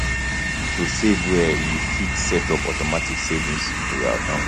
to fit save well you fit set up automatic savings for your account